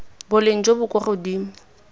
boleng jo bo kwa godimo